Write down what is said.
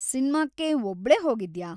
ಸಿನ್ಮಾಕ್ಕೆ ಒಬ್ಳೇ ಹೋಗಿದ್ಯಾ?